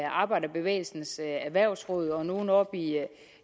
arbejderbevægelsens erhvervsråd og nogle oppe i